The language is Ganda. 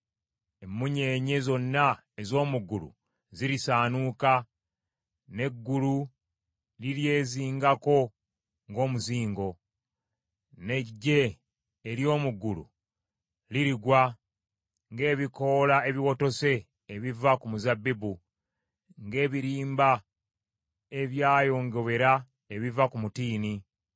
Emmunyeenye zonna ez’omu ggulu zirisaanuuka, n’eggulu liryezingako ng’omuzingo; n’eggye ery’omu ggulu lirigwa, ng’ebikoola ebiwotose ebiva ku muzabbibu, ng’ebirimba ebyayongobera ebiva ku mutiini.